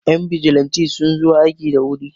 Yan bijilanti suna zo aiki da wuri